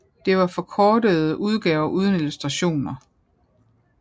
Det var forkortede udgaver uden illustrationer